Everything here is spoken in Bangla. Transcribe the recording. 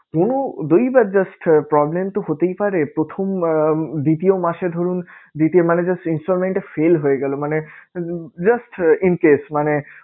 কোনো দৈবাৎ just problem তো হতেই পারে প্রথম আহ দ্বিতীয় মাসে ধরুন দিতে মানে just installment টা fail হয়ে গেলো মানে উম just in case মানে